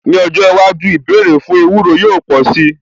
Ní ọjọ́ iwájú, ìbéèrè fún ewúro yóò pò sí.